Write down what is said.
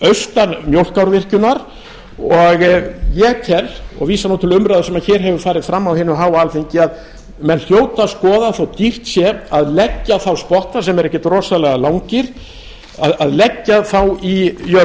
austan mjólkárvirkjunar og ég tel og vísa nú til umræðu sem hér hefur farið fram á hinu háa alþingi að menn hljóta að skoða þótt dýrt sé að leggja þá spotta sem eru ekkert rosalega langir að leggja þá í